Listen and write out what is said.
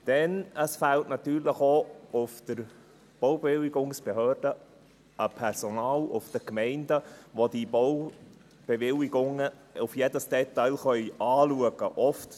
Denn es fehlt natürlich auch in der Baubewilligungsbehörde in den Gemeinden an Personal, das die Baubewilligungen auf jedes Detail hin prüfen könnte.